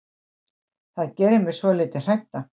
Það gerir mig svolítið hrædda.